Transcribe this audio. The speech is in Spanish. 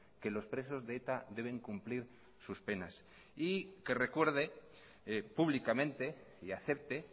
que los presos de eta deben cumplir sus penas y que recuerde públicamente y acepte